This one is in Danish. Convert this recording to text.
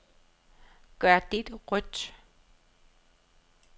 Gør dette rødt.